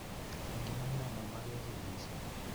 Eng imanda, mamagegiy missing